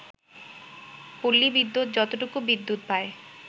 পল্লী বিদ্যুৎ যতটুকু বিদ্যুৎ পায়